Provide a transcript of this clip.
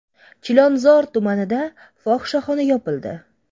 Chilonzor tumanida fohishaxona yopildi.